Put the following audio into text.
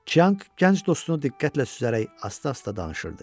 Çianq gənc dostunu diqqətlə süzərək asta-asta danışırdı.